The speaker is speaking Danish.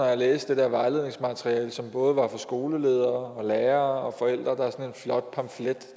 jeg læste det her vejledningsmateriale som både var for skoleledere lærere og flot pamflet